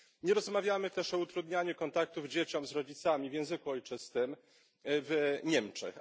Nie rozmawiamy też o utrudnianiu kontaktów dzieci z rodzicami w języku ojczystym w Niemczech.